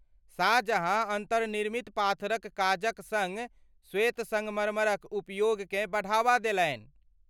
शाहजहाँ अन्तर्निर्मित पाथरक काजक सङ्ग श्वेत संगमरमरक उपयोगकेँ बढ़ावा देलनि।